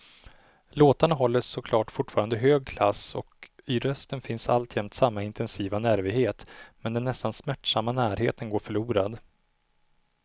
Låtarna håller såklart fortfarande hög klass och i rösten finns alltjämt samma intensiva nervighet, men den nästan smärtsamma närheten går förlorad.